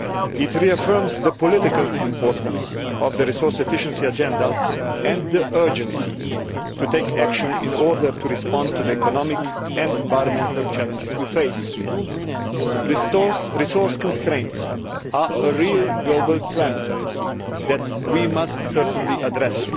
It reaffirms the political importance of the resource efficiency agenda and the urgency of the need to take action in order to respond to the economic and environmental challenges we face. Resource constraints are a real global trend that we must certainly address.